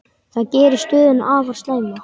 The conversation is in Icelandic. Það geri stöðuna afar slæma.